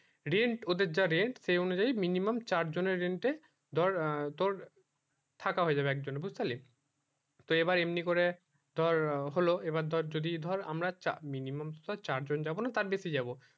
rent ওদের যা rent সেই অনুযায়ী minimum চার জন এ rent এ ধর তোর থাকা হয়ে যাবে এক জন এর বুঝতে পারলি তো এই বার এমনি কর ধর হলো এইবার ধর যদি ধর আমরা চার minimum চার জন যাবো না তার বেশি যাবো